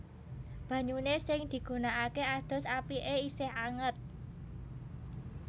Banyune sing digunakake adus apike isih anget